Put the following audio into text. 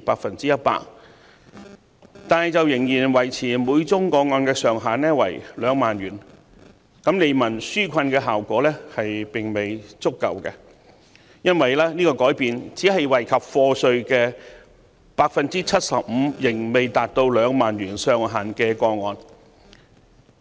高至 100%， 但仍然維持每宗個案上限2萬元，利民紓困的效果並未足夠，因為這項改變只惠及應繳稅款未達2萬元的個案。